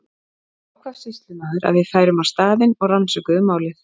Því ákvað sýslumaður að við færum á staðinn og rannsökuðum málið.